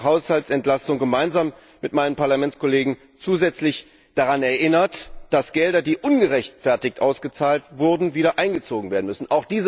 die Haushaltsentlastung gemeinsam mit meinen Parlamentskollegen zusätzlich daran erinnert, dass Gelder, die ungerechtfertigt ausgezahlt wurden, wieder eingezogen werden müssen.